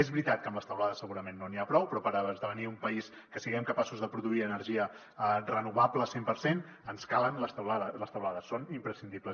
és veritat que amb les teulades segurament no n’hi ha prou però per esdevenir un país que siguem capaços de produir energia renovable cent per cent ens calen les teulades són imprescindibles